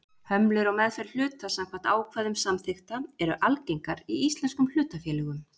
Hömlur á meðferð hluta samkvæmt ákvæðum samþykkta eru algengar í íslenskum hlutafélögum.